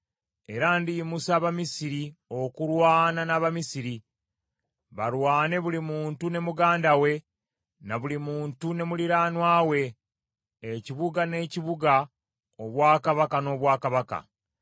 Era ndiyimusa Abamisiri okulwana n’Abamisiri, balwane buli muntu ne muganda we, na buli muntu ne muliraanwa we; ekibuga n’ekibuga, obwakabaka n’obwakabaka.